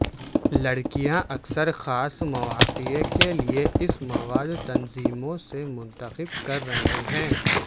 لڑکیاں اکثر خاص مواقع کے لئے اس مواد تنظیموں سے منتخب کر رہے ہیں